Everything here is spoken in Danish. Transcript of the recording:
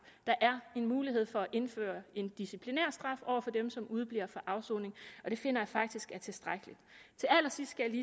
der er mulighed for at indføre en disciplinær straf over for dem som udebliver fra afsoning og det finder jeg faktisk er tilstrækkeligt til allersidst skal